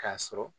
K'a sɔrɔ